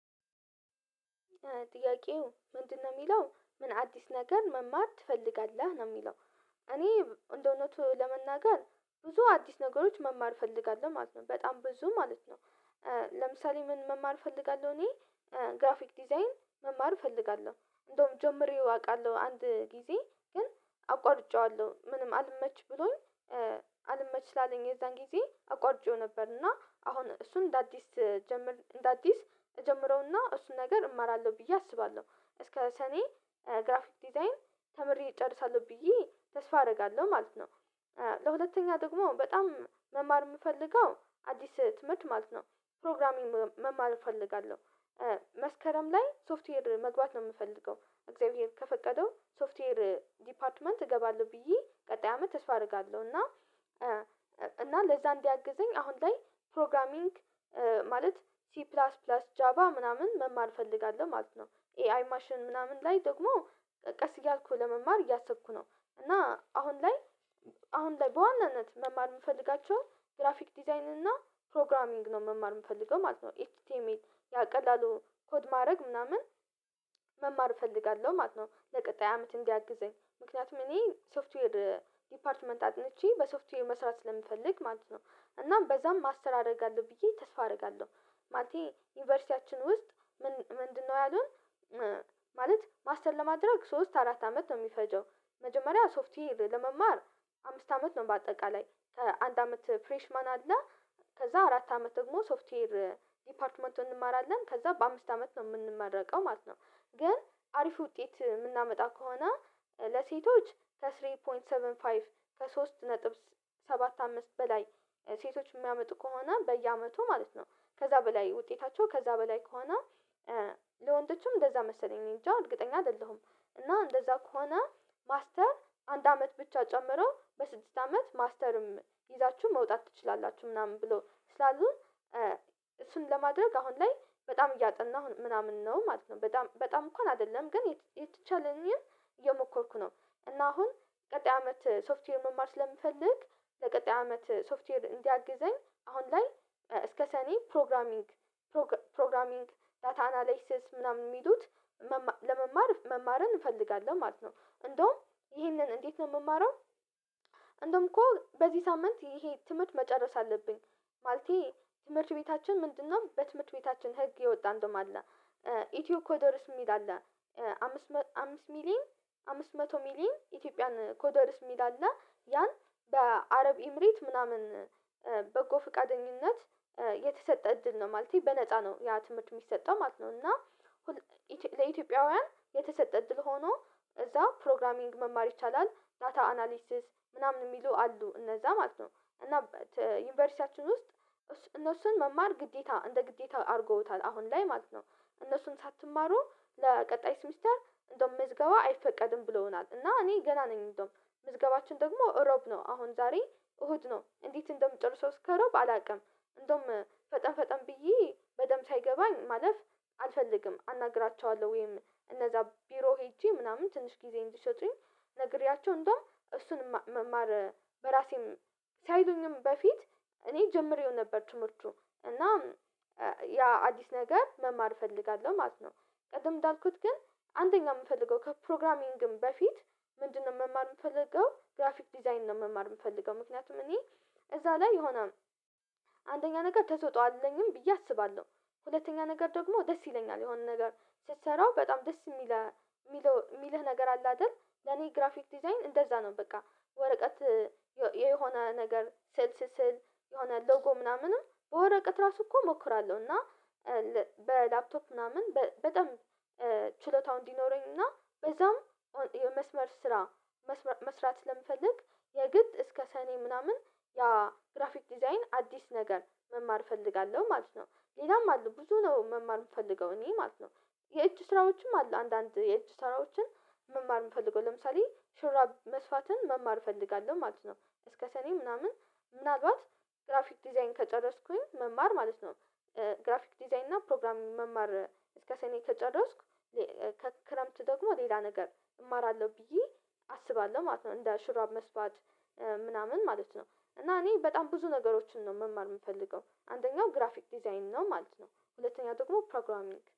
ጥያቄው ምንድነው የሚለው፣ "ምን አዲስ ነገር መማር ትፈልጋለህ?" ነው የሚለው እኔ እንደውነቱ ለመናገር ብዙ አዲስ ነገሮች መማር እፈልጋለሁ ማለት ነው። በጣም ብዙ ማለት ነው። ለምሳሌ ምን መማር እፈልጋለሁ እኔ ግራፊክ ዲዛይን መማር እፈልጋለሁ። እንደውም ጀምሬው አውቃለሁ አንድ ጊዜ ግን አቋርጬዋለሁ ምንም አልመች ብሎኝ አልመች ስላለኝ የዛን ጊዜ አቋርጬው ነበር እና አሁን እሱን እንደ አዲስ ጀምር እንደ አዲስ እጀምረውና እሱን ነገር እማራለሁ ብዬ አስባለሁ። እስከ ሰኔ ግራፊክ ዲዛይን ተምሬ እጨርሳለሁ ብዬ ተስፋ አደርጋለሁ ማለት ነው። ለሁለተኛ ደግሞ በጣም መማር የምፈልገው አዲስ ትምህርት ማለት ነው ፕሮግራሚንግ መማር እፈልጋለሁ። መስከረም ላይ ሶፍትዌር መግባት ነው የምፈልገው እግዚአብሔር ከፈቀደው ሶፍትዌር ዲፓርትመንት እገባለሁ ብዬ ቀጣይ አመት ተስፋ አደርጋለሁ፤ እና እና ለዛ እንዲያግዘኝ አሁን ላይ ፕሮግራሚንግ ማለት ቲ ፕላስ ፕላስ ጃባ ምናምን መማር እፈልጋለሁ ማለት ነው። ኤአይ ማሽን ምናምን ላይ ደግሞ ቀስ እያልኩ ለመማር እያሰብኩ ነው። እና አሁን ላይ አሁን ላይ በዋናነት መማር የምፈልጋቸው ግራፊክ ዲዛይን እና ፕሮግራሚንግ ነው መማር የምፈልገው ማለት ነው። ኤች ቲ ኤም ኤል ያ ቀላሉ ኮድ ማድረግ ምናምን መማር እፈልጋለሁ ማለት ነው ለቀጣይ አመት እንዲያግዘኝ ምክንያቱም እኔ ሶፍትዌር ዲፓርትመንት አጥንቼ በሶፍትዌር መስራት ስለምፈልግ ማለት ነው፤ እና በዛም ማስተር አደርጋለሁ ብዬ ተስፋ አደርጋለሁ። ማለቴ ዩኒቨርሲቲያችን ውስጥ ምን ምንድነው ያሉን ማለት ማስተር ለማድረግ ሶስት አራት አመት ነው የሚፈጀው መጀመሪያ ሶፍትዌር ለመማር አምስት አመት ነው በአጠቃላይ ከአንድ አመት ፍሬሽማን አለ ከዛ አራት አመት ደግሞ ሶፍትዌር ዲፓርትመንቱን እንማራለን ከዛ በአምስት አመት ነው የምንመረቀው ማለት ነው፤ ግን አሪፍ ውጤት የምናመጣ ከሆነ ለሴቶች ከ ስሪ ፖይንት ሰቨን ፋይፍ ከ ሶስት ነጥብ ሰባት አምስት በላይ ሴቶች የሚያመጡ ከሆነ በየአመቱ ማለት ነው ከዛ በላይ ውጤታቸው ከዛ በላይ ከሆነ ለወንዶችም እንደዛ መሰለኝ እኔንጂ እርግጠኛ አይደለሁም እና እንደዛ ከሆነ ማስተር አንድ አመት ብቻ ጨምሮ በስድስት አመት ማስተርም ይዛችሁ መውጣት ትችላላችሁ ምናምን ብሎ ስላሉን እሱን ለማድረግ አሁን ላይ በጣም እያጠናሁ ምናምን ነው ማለት ነው በጣም በጣም እንኳን አይደለም ግን የተቻለኝን እየሞከርኩ ነው እና አሁን ቀጣይ አመት ሶፍትዌር መማር ስለምፈልግ ለቀጣይ አመት ሶፍትዌር እንዲያግዘኝ አሁን ላይ እስከ ሰኔ ፕሮግራሚንግ ፕሮግ ፕሮግራሚንግ ዳታ አናላይሲስ ምናምን የሚሉት መማ ለመማር መማርን እንፈልጋለን ማለት ነው። እንደውም ይሄንን እንዴት ነው የምማረው እንደውም እኮ በዚህ ሳምንት ይሄ ትምህርት መጨረስ አለብኝ ማለቴ ትምህርት ቤታችን ምንድነው በትምህርት ቤታችን ህግ የወጣ እንደውም አለ ኢትዮ ኮዶርስ የሚል አለ አምስት አምስት ሚሊን አምስት መቶ ሚሊን ኢትዮጵያን ኮደርስ የሚል አለ ያን በአረብ ኤምሬት ምናምን በጎ ፈቃደኝነት የተሰጠ እድል ነው ማለቴ በነፃ ነው ያ ትምህርት የሚሰጠው ማለት ነው፤ እና ለኢትዮጵያውያን የተሰጠ እድል ሆኖ እዛ ፕሮግራሚንግ መማር ይቻላል ዳታ አናሊሲስ ምናምን የሚሉ አሉ እነዛ ማለት ነው፤ እና ዩኒቨርሲቲያችን ውስጥ እነሱን መማር ግዴታ እንደ ግዴታ አድርገውታል አሁን ላይ ማለት ነው። እነሱን ሳትማሩ ለቀጣይ ሴሚስተር እንደውም ምዝገባ አይፈቀድም ብለውናል እና እኔ ገና ነኝ እንደውም ምዝገባችን ደግሞ እሮብ ነው አሁን ዛሬ እሁድ ነው እንዴት እንደምጨርሰው እስከ እሮብ አላውቅም። እንደውም ፈጠን ፈጠን ብዬ በደንብ ሳይገባኝ ማለፍ አልፈልግም አናግራቸዋለሁ ወይም እነዛ ቢሮ ሄጄ ምናምን ትንሽ ጊዜ እንዲሰጡኝ አናግሬያቸው እንደውም እሱን መማር በራሴም ሳይሉኝም በፊት እኔ ጀምሬው ነበር ትምህርቱ እና ያ አዲስ ነገር መማር እፈልጋለሁ ማለት ነው። ቅደም እንዳልኩት ግን አንደኛ የምፈልገው ከፕሮግራሚንግም በፊት ምንድነው መማር የምፈልገው ግራፊክ ዲዛይን ነው መማር የምፈልገው። ምክንያቱም እኔ እዛ ላይ የሆነ አንደኛ ነገር ተሰጦ አለኝም ብዬ አስባለሁ። ሁለተኛ ነገር ደግሞ ደስ ይለኛል የሆነ ነገር ስትሰራው በጣም ደስ የሚለህ የሚለው የሚለህ ነገር አለ አይደል ለኔ ግራፊክ ዲዛይን እንደዛ ነው በቃ። ወረቀት የሆነ ነገር ስዕል ስስል የሆነ ሎጎ ምናምንም በወረቀት ራሱ እኮ እሞክራለሁ እና በላፕቶፕ ምናምን በጣም ችሎታው እንዲኖረኝ እና በዛም የመስመር ስራ መስመ መስራት ስለምፈልግ የግድ እስከ ሰኔ ምናምን ያ ግራፊክ ዲዛይን አዲስ ነገር መማር እፈልጋለሁ ማለት ነው። ሌላም አሉ ብዙ ነው መማር የምፈልገው እኔ ማለት ነው። የእጅ ስራዎችም አሉ አንዳንድ የእጅ ስራዎችን መማር የምፈልገው ለምሳሌ ሹራብ መስፋትን መማር እፈልጋለሁ ማለት ነው። እስከ ሰኔ ምናምን ምናልባት ግራፊክ ዲዛይን ከጨረስኩኝ መማር ማለት ነው ግራፊክ ዲዛይን እና ፕሮግራሚንግ መማር እስከ ሰኔ ከጨረስኩ ከክረምት ደግሞ ሌላ ነገር እማራለሁ ብዬ አስባለሁ ማለት ነው። እንደ ሹራብ መስፋት ምናምን ማለት ነው እና እኔ በጣም ብዙ ነገሮችን ነው መማር የምፈልገው። አንደኛው ግራፊክ ዲዛይን ነው ማለት ነው ሁለተኛው ደግሞ ፕሮግራሚንግ